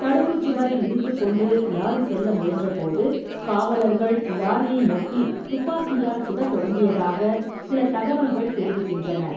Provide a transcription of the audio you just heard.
தடுப்புச்சுவரை இடித்துக்கொண்டு லாரி செல்ல முயன்றபோது, காவலர்கள் லாரியை நோக்கி துப்பாக்கியால் சுடத் தொடங்கியதாகச் சில தகவல்கள் தெரிவிக்கின்றன.